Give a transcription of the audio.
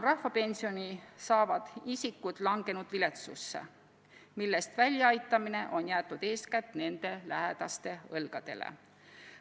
Rahvapensioni saavad isikud on langenud viletsusse, nende sealt väljaaitamine on jäetud eeskätt nende lähedaste õlgadele.